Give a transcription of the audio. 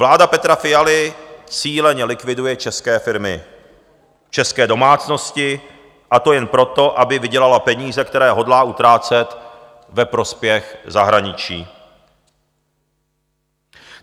Vláda Petra Fialy cíleně likviduje české firmy, české domácnosti, a to jen proto, aby vydělala peníze, které hodlá utrácet ve prospěch zahraničí.